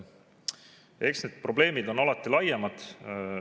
Eks need probleemid on alati laiemad.